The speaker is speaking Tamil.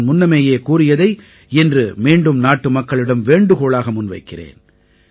நான் முன்னமேயே கூறியதை இன்று மீண்டும் நாட்டுமக்களிடம் வேண்டுகோளாக முன்வைக்கிறேன்